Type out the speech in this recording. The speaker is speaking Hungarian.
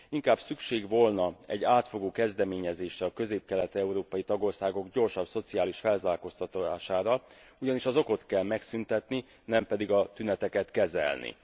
Inkább szükség volna egy átfogó kezdeményezésre a közép kelet európai tagországok gyorsabb szociális felzárkóztatására, ugyanis az okot kell megszüntetni, nem pedig a tüneteket kezelni.